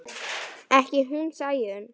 Ekki hún Sæunn.